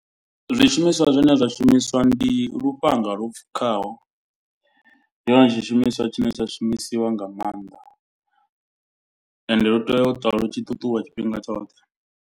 Zwishumiswa zwine zwa shumiswa ndi lufhanga lwo pfukaho. Ndi hone tshishumiswa tshine tsha shumisiwa nga maanḓa. Ende lu tea u ṱwa lu tshi ṱuṱuwa tshifhinga tshoṱhe.